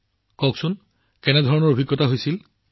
প্ৰধানমন্ত্ৰীঃ মোক কওক কেনে অভিজ্ঞতা হৈছিল